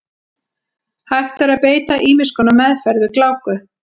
Hægt er að beita ýmiss konar meðferð við gláku.